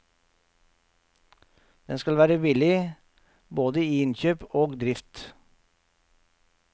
Den skal være billig, både i innkjøp og drift.